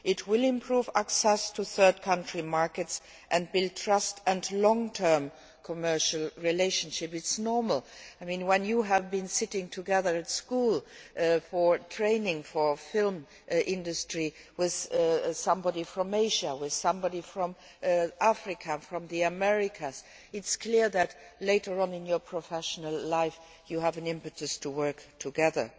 It will improve access to third country markets and build trust and long term commercial relationships this is normal. When you have been sitting together at school, training for the film industry, with somebody from Asia, somebody from Africa or from the Americas, it is clear that, later on in your professional life, you have an impetus to work together.